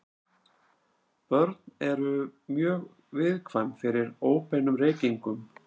Börn eru mjög viðkvæm fyrir óbeinum reykingum.